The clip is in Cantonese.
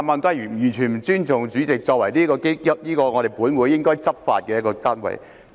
他完全不尊重主席作為本會的執法人員。